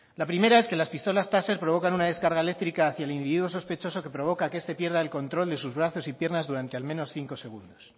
la primera es que las pistolas taser provocan una descarga eléctrica hacia el individuo sospechoso que provoca que este pierda el control de sus brazos y piernas durante al menos cinco segundos